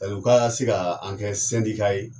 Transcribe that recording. Ɛ u ka se ka an kɛ sendika ye